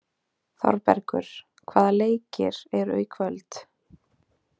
Þorbergur, hvaða leikir eru í kvöld?